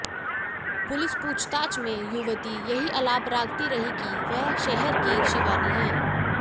police पूछताछ में युवती यही अलाप रागती रही कि वह शहर की शिवानी है